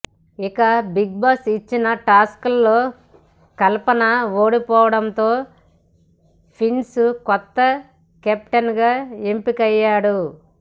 ఇక బిగ్బాస్ ఇచ్చిన టాస్క్లో కల్పన ఓడిపోవడంతో ప్రిన్స్ కొత్త కెప్టెన్గా ఎంపికయ్యాడు